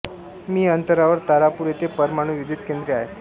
मि अंतरावर तारापूर येथे परमाणु विद्युत केन्द्रे आहेत